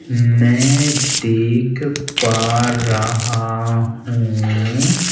मैं देख पा रहा हूं।